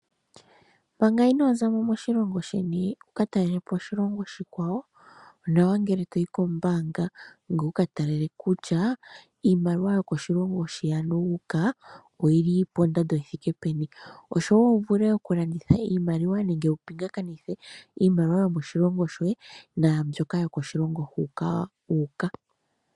Manga inoo za mo moshilongo sheni wu ka talele po oshilongo oshikwawo, onawa ngele to yi kombaanga ngoye wu ka tale kutya iimaliwa yokoshilongo shi ano wu uka oyi li pondando yi thike peni, osho wo wu vule okulanditha iimaliwa nenge wu pingakanithe iimaliwa yomoshilongo shoye, naambyoka yokoshilongo hoka wu uka.